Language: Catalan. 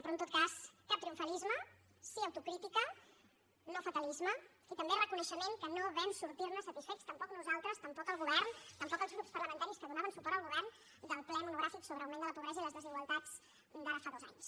però en tot cas cap triomfalisme sí autocrítica no fatalisme i també reconeixement que no vam sortir ne satisfets tampoc nosaltres tampoc el govern tampoc els grups parlamentaris que donaven suport al govern del ple monogràfic sobre augment de la pobresa i les desigualtats d’ara fa dos anys